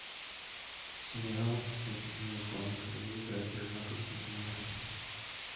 сериал где одну из главных ролей играет жена константина эрнста